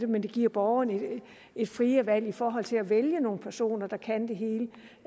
men det giver borgerne et friere valg i forhold til at vælge nogle personer der kan det hele